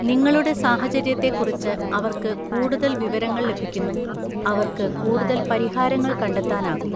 നിങ്ങളുടെ സാഹചര്യത്തെക്കുറിച്ച് അവർക്ക് കൂടുതൽ വിവരങ്ങൾ ലഭിക്കുന്നു, അവർക്ക് കൂടുതൽ പരിഹാരങ്ങൾ കണ്ടെത്താനാകും.